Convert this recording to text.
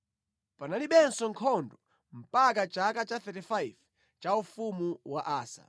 Panalibenso nkhondo mpaka chaka cha 35 cha ufumu wa Asa.